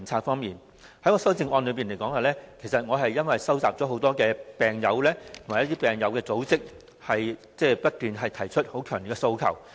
我提出修正案，因為我收集了很多病友及病友組織不斷提出的強烈訴求。